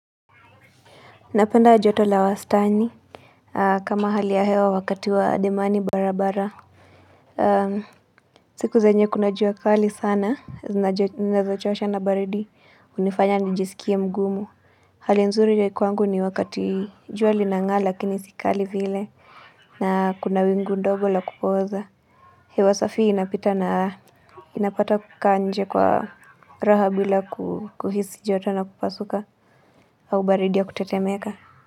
Napenda joto la wastani kama hali ya hewa wakati wa ademani barabara siku zenye kuna jua kali sana Nazochosha na baridi hunifanya nijisikie mgumu Hali nzuri ya kwangu ni wakati jua linang'aa lakini si kali vile na kuna wingu ndogo la kupooza hewa safi inapita na inapata kukaa nje kwa raha bila kuhisi joto na kupasuka au baridi ya kutetemeka.